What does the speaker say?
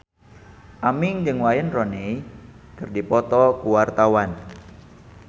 Aming jeung Wayne Rooney keur dipoto ku wartawan